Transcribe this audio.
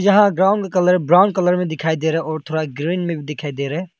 यहा ground colour brown colour में दिखाई दे रहा है और थोड़ा ग्रीन में भी दिखाई दे रहा है।